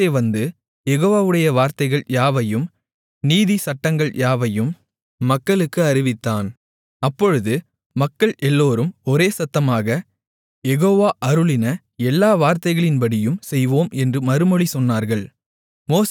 மோசே வந்து யெகோவாவுடைய வார்த்தைகள் யாவையும் நீதி சட்டங்கள் யாவையும் மக்களுக்கு அறிவித்தான் அப்பொழுது மக்கள் எல்லோரும் ஒரேசத்தமாக யெகோவா அருளின எல்லா வார்த்தைகளின்படியும் செய்வோம் என்று மறுமொழி சொன்னார்கள்